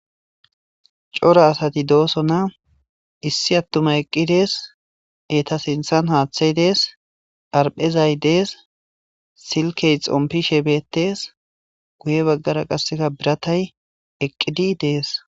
cora asati dooso na issi attuma eqqi dees eta sinthan haaththay dees arphezay dees silkey xompishe beettees guye baggara qasseka biratay eqqidi dees